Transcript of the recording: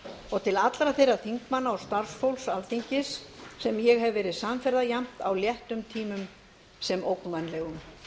og til allra þeirra þingmanna og starfsfólks alþingis sem ég hef verið samferða jafnt á léttum tímum sem ógnvænlegum